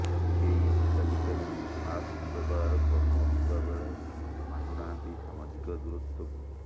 କେହି ହିତାଧିକାରୀ ମାସ୍କ ବ୍ୟବହାର କରୁନଥିବା ବେଳେ ମାନୁ ନାହାଁନ୍ତି ସାମାଜିକ ଦୂରତ୍ୱକୁ